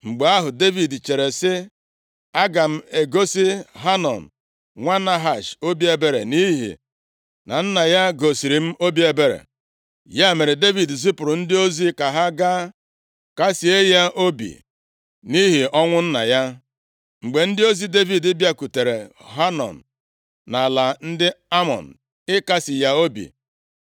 Mgbe ahụ, Devid chere sị, “Aga m egosi Hanọn nwa Nahash obi ebere nʼihi na nna ya gosiri m obi ebere.” Ya mere, Devid zipụrụ ndị ozi ka ha gaa kasịe ya obi nʼihi ọnwụ nna ya. Mgbe ndị ozi Devid bịakwutere Hanọn nʼala ndị Amọn ịkasị ya obi,